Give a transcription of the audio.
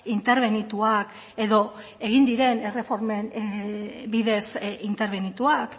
interbenituak edo egin diren erreformen bidez interbenituak